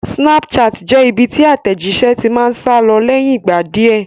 Snapchat jẹ́ ibi tí àtẹ̀jíṣé ti máa ń sálọ lẹ́yìn ìgbà díẹ̀